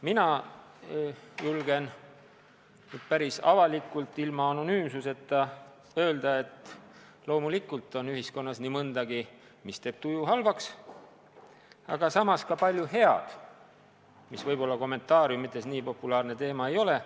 Mina julgen päris avalikult ilma anonüümsuseta öelda, et loomulikult on ühiskonnas nii mõndagi, mis teeb tuju halvaks, aga samas ka palju head, mis võib-olla kommentaariumites nii populaarne teema ei ole.